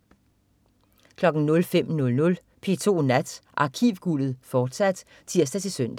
05.00 P2 Nat. Arkivguldet, fortsat (tirs-søn)